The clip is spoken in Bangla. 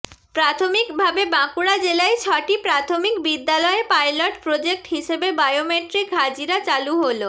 প্রাথমিক ভাবে বাঁকুড়া জেলায় ছটি প্রাথমিক বিদ্যালয়ে পাইলট প্রজেক্ট হিসেবে বায়োমেট্রিক হাজিরা চালু হল